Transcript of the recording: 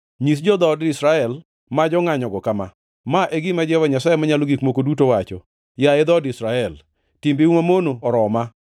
Nyis jo-dhood Israel ma jongʼanyogo kama: ‘Ma e gima Jehova Nyasaye Manyalo Gik Moko Duto wacho: Yaye dhood Israel, timbeu mamono oroma!